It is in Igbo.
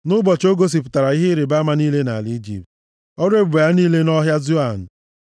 nʼụbọchị o gosipụtara ihe ịrịbama niile nʼala Ijipt, ọrụ ebube ya niile nʼọhịa Zoan.